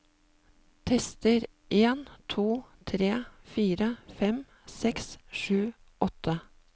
Tester en to tre fire fem seks sju åtte